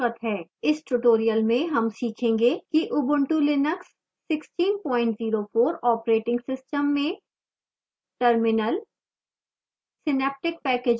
इस tutorial में हम सीखेंगे कि ubuntu linux 1604 operating system में terminal